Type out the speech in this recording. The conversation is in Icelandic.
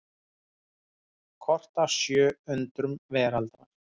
Kort af sjö undrum veraldar.